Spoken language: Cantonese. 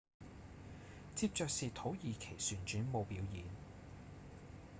接著是土耳其旋轉舞表演